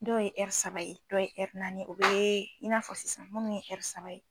Dɔ ye saba ye, dɔw ye naani o be, i n'a fɔ sisan munnu ye saba ye